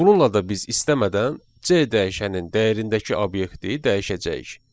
Bununla da biz istəmədən C dəyişənin dəyərindəki obyekti dəyişəcəyik.